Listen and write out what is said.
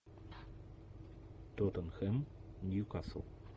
тоттенхэм ньюкасл